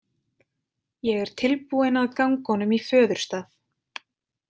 Ég er tilbúinn að ganga honum í föðurstað.